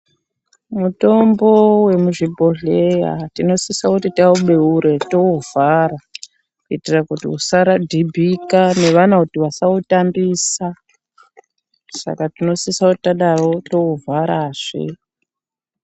Mutombo vemuzvibhodhleya tinosisa kuti taubeure touvhara. Kuitira kuti usaradhimbika neana kuti vasautambisa saka tinosisa kuti tadaro tou vharazve.